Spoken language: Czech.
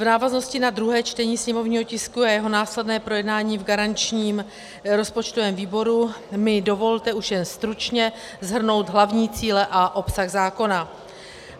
V návaznosti na druhé čtení sněmovního tisku a jeho následné projednání v garančním rozpočtovém výboru mi dovolte už jen stručně shrnout hlavní cíle a obsah zákona.